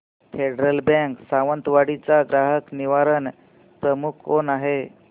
federal bank Sawantwadi चा ग्राहक निवारण प्रमुख कोण आहे